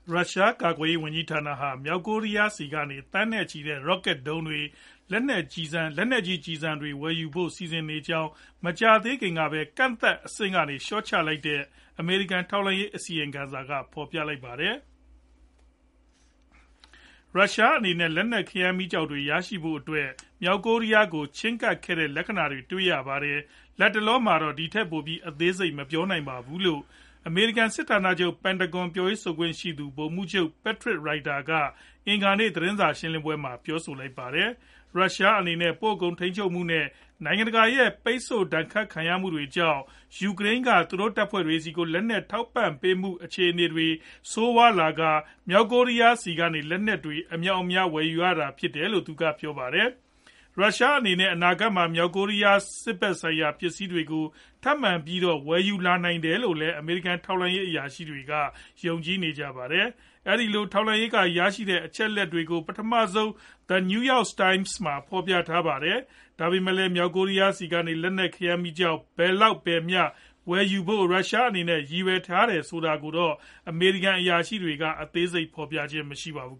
ရုရှား ကာကွယ်ရေးဝန်ကြီးဌာနဟာ မြောက်ကိုရီးယားဆီကနေ သန်းနဲ့ချီတဲ့ ရော့ကတ်ဒုံးတွေ၊ လက်နက်ကြီး ကျည်ဆံတွေ ဝယ်ယူဖို့ စီစဉ်နေကြောင်း မကြာသေးခင်ကပဲ ကန့်သတ်အဆင့်ကနေ လျှော့ချလိုက်တဲ့ အမေရိကန် ထောက်လှမ်းရေး အစီရင်ခံစာက ဖော်ပြလိုက်ပါတယ်။ "ရုရှားအနေနဲ့ လက်နက် ခဲယမ်းမီးကျောက်တွေ ရရှိဖို့အတွက် မြောက်ကိုရီးယား ကို ချည်းကပ်ခဲ့တဲ့ လက္ခဏာတွေ တွေ့ရပါတယ်။ လတ်တလောမှာတော့ ဒီထက်ပိုပြီး အသေးစိတ် မပြောနိုင်သေးပါဘူး။" လို့ အမေရိကန် စစ်ဌာနချုပ် Pentagon ပြောရေးဆိုခွင့်ရှိသူ ဗိုလ်မှူးချုပ် Patrick Ryder က အင်္ဂါနေ့ သတင်းစာရှင်းလင်းပွဲမှာ ပြောဆိုလိုက်တာပါ။ ရုရှားအနေနဲ့ ပိုကုန် ထိန်းချုပ်မှု နဲ့ နိုင်ငံတကာရဲ့ ပိတ်ဆို့ဒဏ်ခတ်ခံရမှုတွေကြောင့် ယူကရိန်း က သူတို့တပ်ဖွဲ့တွေဆီကို လက်နက်ထောက်ပို့ပေးနိုင်မှု အခြေအနေ ဆိုးဝါးနေတဲ့အတွက်ကြောင့် မြောက်ကိုရီးယား ဆီကနေ လက်နက်တွေ အမြောက်အများ ဝယ်ယူရတာဖြစ်တယ်လို့ သူက ပြောပါတယ်။ ရုရှားအနေနဲ့ အနာဂါတ်မှာ မြောက်ကိုရီးယား စစ်ဖက်ဆိုင်ရာ ပစ္စည်းတွေကို ထပ်မံပြီးတော့ ဝယ်ယူလာနိုင်တယ်လို့လည်း အမေရိကန် ထောက်လှမ်းရေး အရာရှိတွေက ယုံကြည်နေကြပါတယ်။ အဲဒီလို ထောက်လှမ်းရေး က ရရှိထားတဲ့ အချက်အလက်တွေကို ပထမဆုံး The New York Times မှာ ဖော်ပြထားပါတယ်။ ဒါပေမယ့်လည်း မြောက်ကိုရီးယား ဆီကနေ လက်နက် ခဲယမ်းမီးကျောက် ဘယ်လောက် ဘယ်မျှ ဝယ်ယူဖို့ ရုရှားအနေနဲ့ ရည်ရွယ်ထားလဲဆိုတာကိုတော့ အမေရိကန် အရာရှိတွေက အသေးစိတ် ဖော်ပြခြင်းမရှိပါဘူး